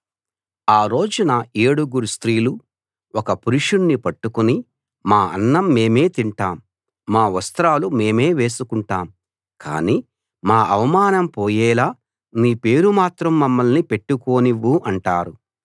ఆ రోజున ఏడుగురు స్త్రీలు ఒక్క పురుషుణ్ణి పట్టుకుని మా అన్నం మేమే తింటాం మా వస్త్రాలు మేమే వేసుకుంటాం కాని మా అవమానం పోయేలా నీ పేరు మాత్రం మమ్మల్ని పెట్టుకోనివ్వు అంటారు